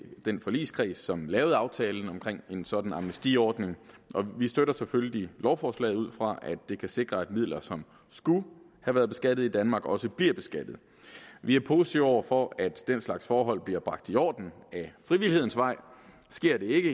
den forligskreds som lavede aftalen om en sådan amnestiordning og vi støtter selvfølgelig lovforslaget ud fra at det kan sikre at midler som skulle have været beskattet i danmark også bliver beskattet vi er positive over for at den slags forhold bliver bragt i orden ad frivillighedens vej sker det ikke